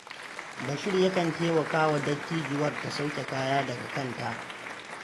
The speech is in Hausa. Bashir yakan taimaka wa dattijuwar ta sauke kaya daga kanta.